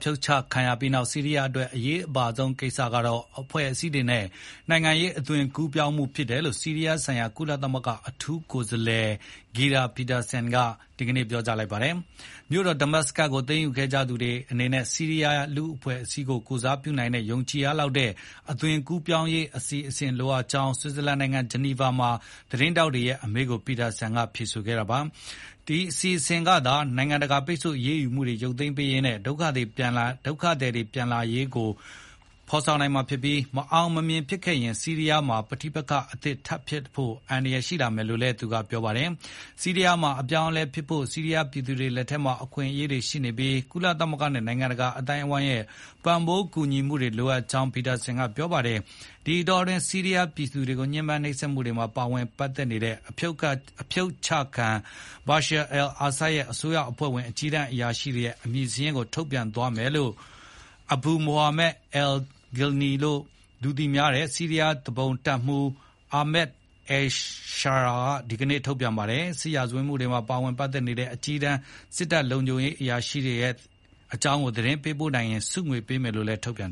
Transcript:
ဖြုတ်ချခံရပြီးနောက် ဆီးရီးယားအတွက် အရေးပါဆုံး စမ်းသပ်မယ့် ကိစ္စကတော့ အဖွဲ့အစည်းနဲ့ နိုင်ငံရေးအသွင်ကူပြောင်းမှုကို အကောင်အထည်ဖေါ်တဲ့အခြေအနေ ဖြစ်တယ်လို့ ဆီးရီးယားနိုင်ငံဆိုင်ရာကုလသမဂ္ဂ အထူးကိုယ်စားလှယ် Geir Pederson (ဂီရာ ပီဒါဆန်) က ဒီကနေ့ ပြောကြားခဲ့ပါတယ်။ မြို့တော်ဒမတ်စကတ်ကို သိမ်းယူခဲ့ကြသူတွေအနေနဲ့ ဆီးရီးယားလူ့အဖွဲ့အစည်းတွေကို ကိုယ်စားပြု နိုင်တဲ့ ယုံကြည်ရလောက်တဲ့ အသွင်ကူးပြောင်းရေးအစီအစဥ်တွေလိုအပ်ကြောင်း ဆွစ်ဇာလန်နိုင်ငံ ဂျီနီဗာမှာ သတင်းထောက်တွေရဲ့အမေးကို Pederson က ဖြေဆိုခဲ့တာပါ။ ဒီအစီအစဥ်ကသာ နိုင်ငံတကာ ပိတ်ဆို့အရေးယူမှုတွေရုပ်သိမ်းရေးနဲ့ ဒုက္ခသည်တွေ ပြန်လာရေး နည်းလမ်းတွေကိုရှင်းလင်းနိုင်မှာဖြစ်ပြီး တကယ်လို့ မအောင်မမြင်ဖြစ်ခဲ့မယ်ဆိုရင် ဆီးရီးယားမှာ ပဋိပက္ခအသစ်ဖြစ်ဖို့ အန္တရာယ်ရှိလာမယ်လို့လည်း သူက ဆိုပါတယ်။ ဆီးရီးယားမှာ အပြောင်းအလဲ ဖြစ်ဖို့ ဆီးရီးယားပြည်သူတွေလက်ထဲမှာအခွင့်အရေးတွေရှိနေပြီး ကုလသမဂ္ဂနဲ့ နိုင်ငံတကာအသိုင်းအဝိုင်းရဲ့ ပံ့ပိုးမှုတွေ လိုအပ်ကြောင်းလည်း Pederson က ပြောပါတယ်။ ဒီအတောအတွင်း ဆီးရီးယားပြည်သူတွေကို ညှဉ်းပန်းနှိပ်စက်မှုတွေမှာ ပါဝင်ပတ်သက်နေတဲ့ ဖြုတ်ချခံ သမ္မတ Bashar al-Assad ရဲ့ အစိုးရအဖွဲ့၀င်အကြီးတန်းအရာရှိတွေရဲ့ အမည်စာရင်းတွေကို ထုတ်ပြန် မယ်လို့ Abu Mohammad al-Golani (အယ်လ် ဂိုလာနီ) လို့ လူသိများတဲ့ ဆီးရီးယားသူပုန်တပ်မှူး Ahmad al-Sharaa (အာမတ် အယ်လ်ရှရာ) က ဒီကနေ့ ကတိပြုလိုက်ပါတယ်။ စစ်ရာဇ၀တ်မှုတွေမှာ ပါဝင်ပတ်သက်နေတဲ့ အကြီးတန်းစစ်တပ်နဲ့ လုံခြုံရေးအရာရှိတွေရဲ့ သတင်းပေး နိုင်သူတွေကိုဆုကြေးပေးသွားမှာဖြစ်တယ်လို့ Golani ရဲ့ ထုတ်ပြန်